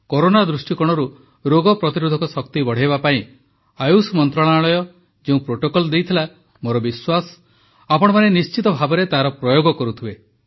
corona ଦୃଷ୍ଟିକୋଣରୁ ରୋଗ ପ୍ରତିରୋଧକ ଶକ୍ତି ବଢ଼ାଇବା ପାଇଁ ଆୟୁଷ ମନ୍ତ୍ରଣାଳୟ ଯେଉଁ ପ୍ରୋଟୋକଲ ଦେଇଥିଲା ମୋର ବିଶ୍ୱାସ ଆପଣମାନେ ନିଶ୍ଚିତ ଭାବେ ତାର ପ୍ରୟୋଗ କରୁଥିବେ